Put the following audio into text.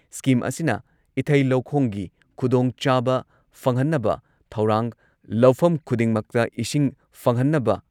scheme ꯑꯁꯤꯅ ꯏꯊꯩ ꯂꯧꯈꯣꯡꯒꯤ ꯈꯨꯗꯣꯡꯆꯥꯕ ꯐꯪꯍꯟꯅꯕ ꯊꯧꯔꯥꯡ ꯂꯧꯐꯝ ꯈꯨꯗꯤꯡꯃꯛꯇ ꯏꯁꯤꯡ ꯐꯪꯍꯟꯅꯕ